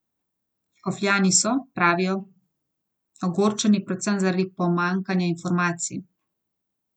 Škofljani so, pravijo, ogorčeni predvsem zaradi pomanjkanja informacij.